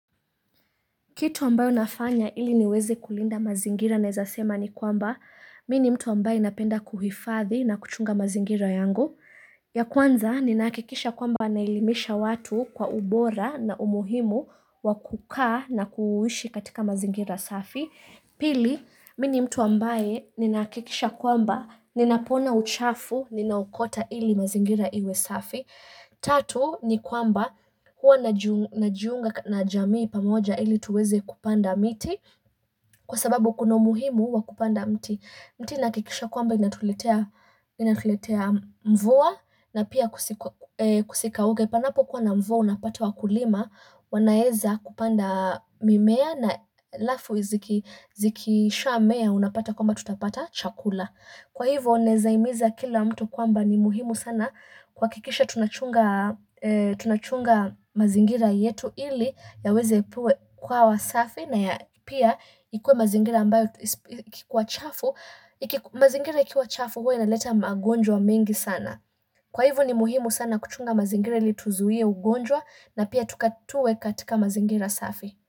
Kitu ambayo nafanya ili niweze kulinda mazingira nawezasema ni kwamba Mimi ni mtu ambaye napenda kuhifadhi na kuchunga mazingira yangu ya kwanza ni nahakikisha kwamba naelimisha watu kwa ubora na umuhimu wakukaa na kuishi katika mazingira safi Pili, mimi ni mtu ambaye ninakikisha kwamba ninapoona uchafu, ninaukota ili mazingira iwe safi Tatu ni kwamba huwa najiunga na jamii pamoja ili tuweze kupanda miti kwa sababu kuna muhimu wa kupanda mti. Mti inahakikisha kwamba inatuletea mvua na pia kusikauke. Panapo kuwa na mvua unapata wa kulima wanaweza kupanda mimea na halafu zikisha mea unapata kwamba tutapata chakula. Kwa hivyo nawezahimiza kila mtu kwamba ni muhimu sana kuhakikisha tunachunga mazingira yetu ili ya weze kuwa wasafi na ya pia ikuwe mazingira ambayo ikikuwa chafu, mazingira ikiwa chafu huwa inaleta magonjwa mengi sana. Kwa hivyo ni muhimu sana kuchunga mazingira ili tuzuie ugonjwa na pia tuwe katika mazingira safi.